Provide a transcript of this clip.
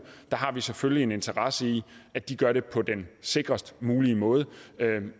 har vi selvfølgelig en interesse i at de gør det på den sikrest mulige måde